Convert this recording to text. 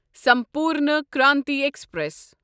Sampoorna Kranti express